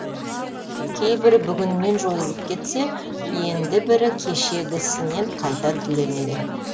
кейбірі бүгінінен жойылып кетсе енді бірі кешегісінен қайта түленеді